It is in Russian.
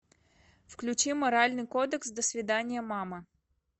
включи моральный кодекс до свиданья мама